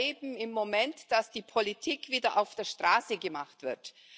Wir erleben im Moment, dass die Politik wieder auf der Straße gemacht wird.